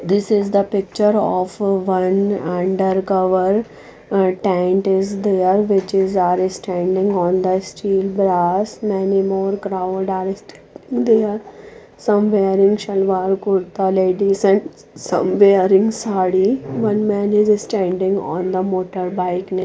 this is the picture of one under cover tent is there which is are standing on the steel brass many more crowd are there some where in salwar kurta ladies and somewhere in sadi one men is standing on the motorbike near--